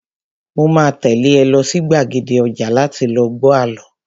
Mo máa tẹ́lé ẹ lọ sí gbàgede ọjà láti lọ gbọ àlọ́